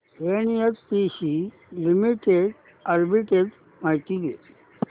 NHPC limited arbitrage माहिती दे